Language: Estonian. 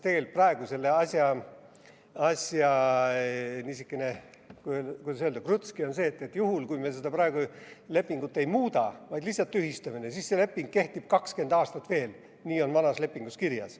Tegelikult on praegu selle asja niisugune, kuidas öelda, krutski see, et juhul, kui me praegu lepingut ei muuda, vaid lihtsalt tühistame, siis see leping kehtib 20 aastat veel, sest nii on vanas lepingus kirjas.